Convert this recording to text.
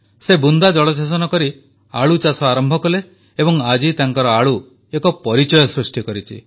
ସେ ବୁନ୍ଦା ଜଳସେଚନ କରି ଆଳୁଚାଷ ଆରମ୍ଭ କଲେ ଏବଂ ଆଜି ତାଙ୍କର ଆଳୁ ଏକ ପରିଚୟ ସୃଷ୍ଟି କରିଛି